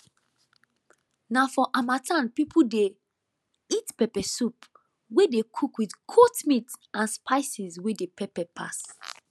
na for harmattan people dey eat pepper soup wey dey cook with goat meat and spices wey dey pepper pass